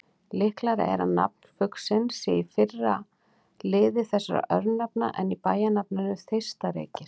Líklegra er að nafn fuglsins sé í fyrri lið þessara örnefna en í bæjarnafninu Þeistareykir.